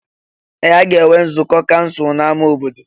Ee! A ga-enwe nzukọ kansụl n'ámá obodo.